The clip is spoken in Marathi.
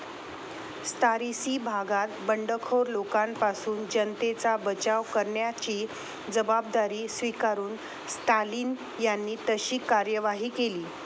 त्सारिसीं भागात बंडखोर लोकांपासून जनतेचा बचाव करण्याची जबाबदारी स्वीकारून स्टालिन यांनी तशी कार्यवाही केली.